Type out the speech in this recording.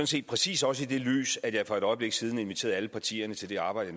set præcis også i det lys at jeg for et øjeblik siden inviterede alle partierne til det arbejde